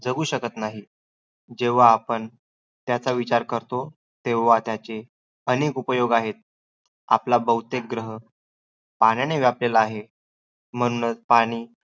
जगु शकत नाही. जेव्हा आपण त्याचा विचार करतो, तेव्हा त्याचे अनेक उपयोग आहेत. आपला बहुतेक ग्रह पाण्याने व्यापलेला आहे. म्हणूनचं पाणी